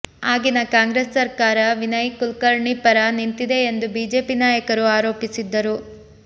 ಆಗಿನ ಕಾಂಗ್ರೆಸ್ ಸರ್ಕಾರ ವಿನಯ್ ಕುಲಕರ್ಣಿ ಪರ ನಿಂತಿದೆ ಎಂದು ಬಿಜೆಪಿ ನಾಯಕರು ಆರೋಪಿಸಿದ್ದರು